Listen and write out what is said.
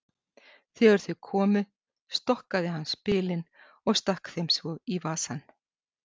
Þegar þau komu stokkaði hann spilin og stakk þeim svo í vasann.